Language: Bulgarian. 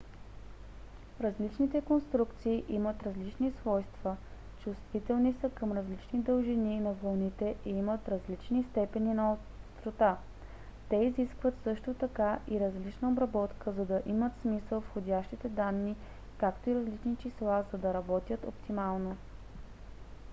различните конструкции имат различни свойства чувствителни са към различни дължини на вълните и имат различни степени на острота. те изискват също така и различна обработка за да имат смисъл входящите данни както и различни числа за да работят оптимално